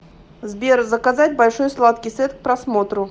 сбер заказать большой сладкий сет к просмотру